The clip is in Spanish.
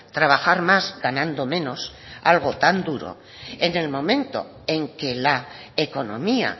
trabajar más ganando menos algo tan duro en el momento en que la economía